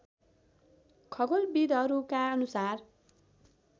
खगोलविधहरूका अनुसार